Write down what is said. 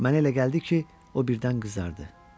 Mənə elə gəldi ki, o birdən qızardı.